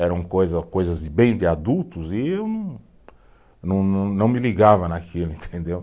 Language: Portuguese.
Eram coisa, coisas bem de adultos e eu não, não não, não me ligava naquilo, entendeu?